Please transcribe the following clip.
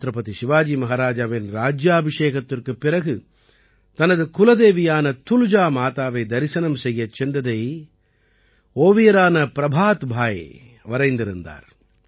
சத்ரபதி சிவாஜி மஹராஜாவின் ராஜ்யாபிஷேகத்திற்குப் பிறகு தனது குலதேவியான துல்ஜா மாதாவை தரிசனம் செய்யச் சென்றதை ஓவியரான பிரபாத் பாய் வரைந்திருந்தார்